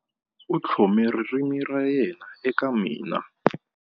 U tlhome ririmi ra yena eka mina.